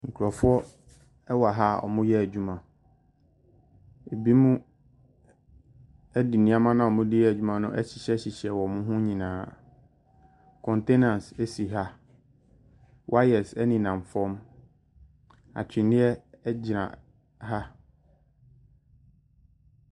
Nkurofoɔ ɛwɔ ha a wɔn reyɛ adwuma. Ebinom ɛde nnoɔma no a wɔn rede yɛ adwuma no ahyehyɛ hyehyɛ wɔn ho nyinaa. Kɔntainas ɛsi ha. Wayɛs enenam fam. Atwenneɛ ɛgyina ha.